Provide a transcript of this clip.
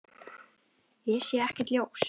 Ég sé ekkert ljós.